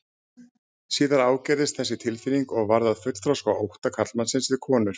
Síðar ágerðist þessi tilfinning og varð að fullþroska ótta karlmannsins við konur.